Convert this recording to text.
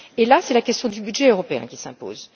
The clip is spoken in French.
Et là, c'est la question du budget européen qui s'impose.